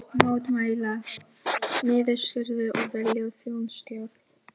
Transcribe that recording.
Mótmæla niðurskurði og vilja þjóðstjórn